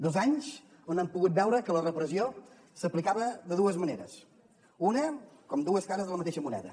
dos anys on hem pogut veure que la repressió s’aplicava de dues maneres com dues cares de la mateixa moneda